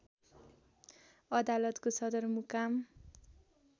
अदालतको सदरमुकाम